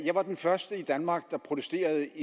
var den første i danmark der protesterede